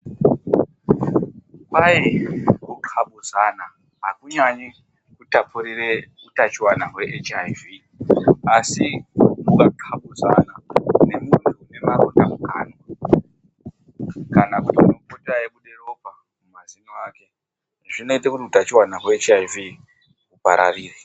Kwai kuthlapudzana hakunyanyi kutapurire utachiwana hweHIV, asi ukathlapudzana nemuntu unemaronda mukwanwa , kana kuti unenge eibuda ropa mumazino ake zvinoite kuti utachiwana hweHIV hupararire.